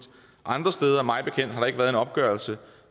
andre steder mig bekendt har der ikke været en opgørelse